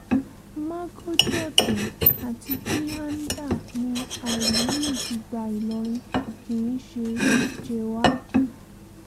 mágọ́jí ọ̀tẹ̀ àti píháńdà ni àlímí fi gba ìlọrin kì í ṣe jèhóádì